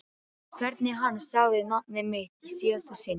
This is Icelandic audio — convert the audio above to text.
Hvernig hann sagði nafnið mitt í síðasta sinn.